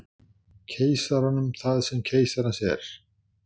Keisaranum það sem keisarans er.